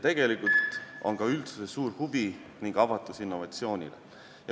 Tegelikult on olemas ka üldsuse suur huvi ja avatus innovatsioonile.